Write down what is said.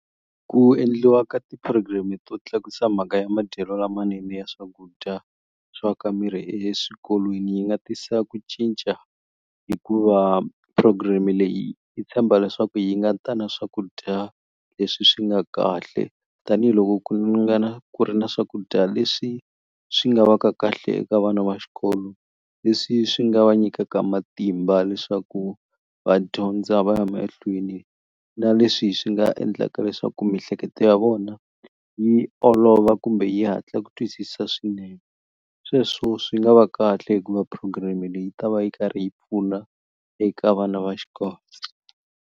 Ku endliwa ka ti-program-i to tlakusa mhaka ya madyelo lamanene ya swakudya swa ka miri eswikolweni yi nga tisa ku cinca hikuva programe leyi yi tshemba leswaku yi nga ta na swakudya leswi swi nga kahle tanihiloko ku nga na ku ri na swakudya leswi swi nga va ka kahle eka vana va xikolo leswi swi nga va nyikaka matimba leswaku va dyondza va ya mahlweni na leswi swi nga endlaka leswaku mihleketo ya vona vona yi olova kumbe yi hatla ku twisisa swinene sweswo swi nga va kahle hikuva programe leyi yi ta va yi karhi yi pfuna eka vana va xikolo.